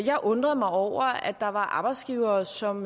jeg undrede mig over at der var arbejdsgivere som